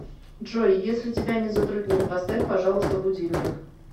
джой если тебя не затруднит поставь пожалуйста будильник